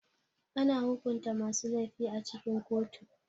Ana hukunta masu laifi a cikin kotu.